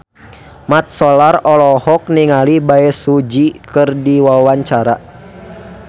Mat Solar olohok ningali Bae Su Ji keur diwawancara